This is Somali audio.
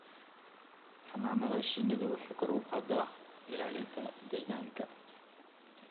Xannaanada shinnidu waxay kor u qaadaa ilaalinta deegaanka.